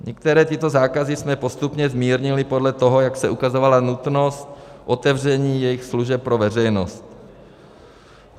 Některé tyto zákazy jsme postupně zmírnili podle toho, jak se ukazovala nutnost otevření jejich služeb pro veřejnost.